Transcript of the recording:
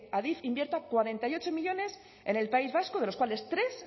adif invierta cuarenta y ocho millónes en el país vasco de los cuales tres